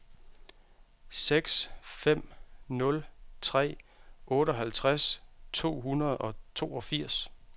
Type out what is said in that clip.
seks fem nul tre otteoghalvtreds to hundrede og toogfirs